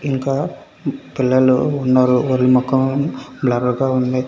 పిల్లలు ఉన్నారు. వాళ్ళ మొఖం బ్లర్ గా ఉంది.